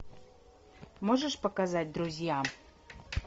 можешь показать друзьям